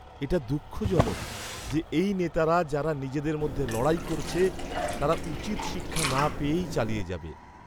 এটা দুঃখজনক যে এই নেতারা যারা নিজেদের মধ্যে লড়াই করছে, তারা উচিৎ শিক্ষা না পেয়েই চালিয়ে যাবে।